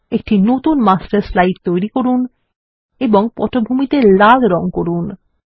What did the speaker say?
একটি নতুন master slide তৈরি করুন ও পটভূমিতে লাল রঙ করুন